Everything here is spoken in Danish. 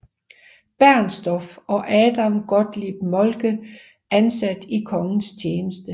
Bernstorff og Adam Gottlob Moltke ansat i kongens tjeneste